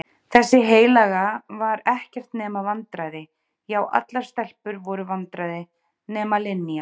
Þessi heilaga var ekkert nema vandræði já allar stelpur voru vandræði nema Linja.